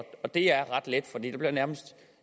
det er ret let for der er nærmest